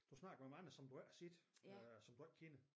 Du snakker om andre som du ikke har set øh som du ikke kender